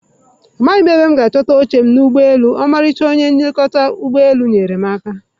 Amaghị m ebe m ga-achọta oche m n'ụgbọelu, ọmarịcha onye nlekọta ụgbọ elu nyeere m aka.